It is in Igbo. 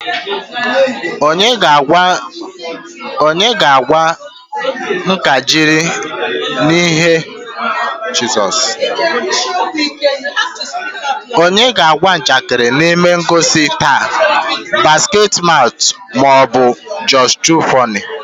Onye ga-agwa njakịrị na ihe ngosi taa Basketmouth ma ọ bụ Josh2funny?